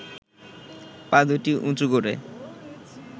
পা দুটি উঁচু করে